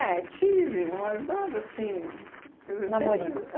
tive, mas nada assim... Quer dizer, sempre. Namoricos?